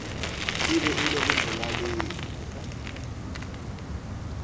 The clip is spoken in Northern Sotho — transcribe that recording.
e bego e le molaleng